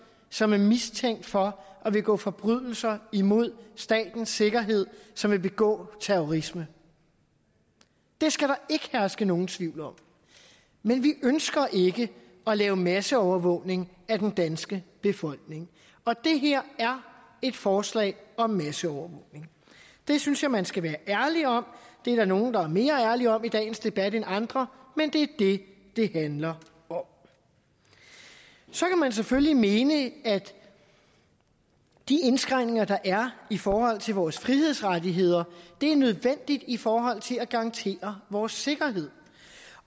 som er mistænkt for at begå forbrydelser imod statens sikkerhed som vil begå terrorisme det skal der ikke herske nogen tvivl om men vi ønsker ikke at lave masseovervågning af den danske befolkning og det her er et forslag om masseovervågning det synes jeg at man skal være ærlig om det er der nogle der er mere ærlige om i dagens debat end andre men det er det det handler om så kan man selvfølgelig mene at de indskrænkninger der er i forhold til vores frihedsrettigheder er nødvendige i forhold til at garantere vores sikkerhed